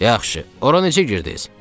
Yaxşı, ora necə girdiz?